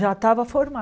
Já estava